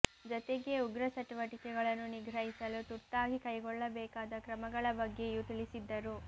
ಜತೆಗೆ ಉಗ್ರ ಚಟುವಟಿಕೆಗಳನ್ನು ನಿಗ್ರಹಿಸಲು ತುರ್ತಾಗಿ ಕೈಗೊಳ್ಳಬೇಕಾದ ಕ್ರಮಗಳ ಬಗ್ಗೆಯೂ ತಿಳಿಸಿದ್ದರು